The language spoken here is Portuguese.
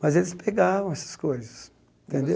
Mas eles pegavam essas coisas, entendeu?